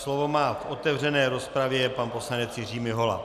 Slovo má v otevřené rozpravě pan poslanec Jiří Mihola.